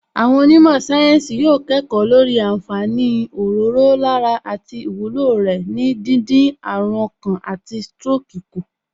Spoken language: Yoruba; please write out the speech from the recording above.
Àwọn onímọ̀ sáyẹ́ǹsì yóò kẹ́kọ̀ọ́ lórí àǹfààní òróró lára àti ìwúlò rẹ̀ ní díndín àrùn ọkàn àti stroke kù